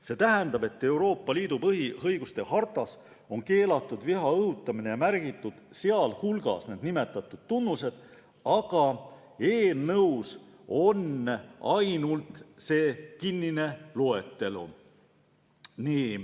See tähendab, et Euroopa Liidu põhiõiguste hartas on keelatud viha õhutamine eespool nimetatud tunnustel, aga eelnõus on ainult kinnine loetelu.